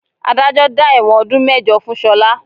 Adájọ́ dá ẹ̀wọ̀n ọdún mẹ́jọ fún Ṣọlá